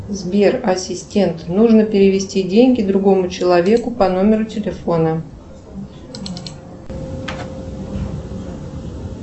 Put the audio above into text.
сбер ассистент нужно перевести деньги другому человеку по номеру телефона